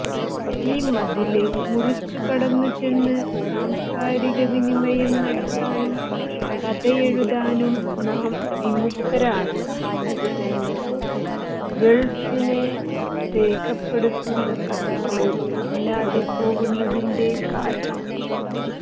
ഈ മതില് മുറിച്ചുകടന്നുചെന്ന് സാംസ്കാരികവിനിമയം നടത്താനും കഥയെഴുതാനും നാം വിമുഖരാണ് എന്നതുതന്നെ ഗള്ഫിനെ രേഖപ്പെടുത്തുന്ന കഥകള് ഇല്ലാതെപോകുന്നതിന്റെ കാരണം